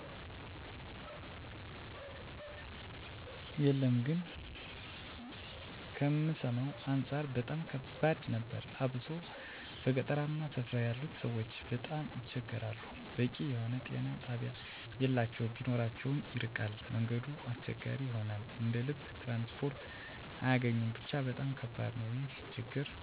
የለም ግን ከምሰማዉ አንፃር በጣም ከባድ ነበር አብሶ በገጠራማ ስፍራ ያሉት ሰዎች በጣም ይቸገራሉ በቂ የሆነ ጤና ጣቢያ የላቸዉም ቢኖራቸዉም ይርቃል መንገዱ አስቸጋሪ ይሆናል እንደ ልብ ትራንስፖርት አያገኙም ብቻ በጣም ከባድ ነዉ ይህን ችግር ለመቀነስ በዛ ያለ ጤና ጣቢያ እንዲገነባ መንገዶች ቢስተካከሉ ለሰዎች በቂ የሆነ አገልግሎት መስጠት ችግርን መቀነስ ይቻላል